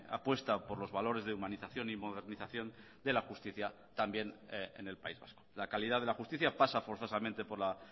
apuesta por los valores de humanización y modernización de la justicia también en el país vasco la calidad de la justicia pasa forzosamente por la